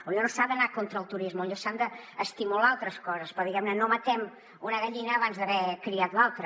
potser no s’ha d’anar contra el turisme potser s’han d’estimular altres coses però diguem ne no matem una gallina abans d’haver criat l’altra